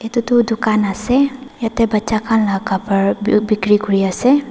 itutu dukan ase yetey bacha khan la khapar du bikri kuri ase.